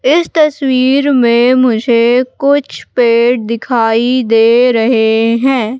इस तस्वीर में मुझे कुछ पेड़ दिखाई दे रहे हैं।